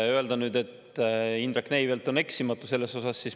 Öelda nüüd seda, et Indrek Neivelt on eksimatu.